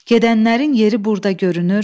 Gedənlərin yeri burda görünür.